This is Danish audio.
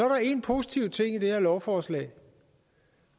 der én positiv ting i det her lovforslag en